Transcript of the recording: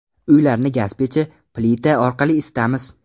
Uylarni gaz pechi, plita orqali isitamiz.